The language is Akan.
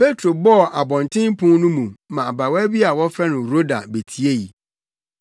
Petro bɔɔ abɔntenpon no mu na abaawa bi a wɔfrɛ no Roda betiei.